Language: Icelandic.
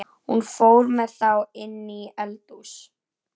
Hún fór með þá inní eldhús.